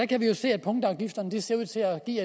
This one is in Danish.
kan jo se at punktafgifterne ser ud til at give